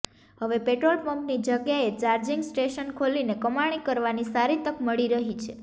હવે પેટ્રોલ પંપની જગ્યાએ ચાર્જીંગ સ્ટેશન ખોલીને કમાણી કરવાની સારી તક મળી રહી છે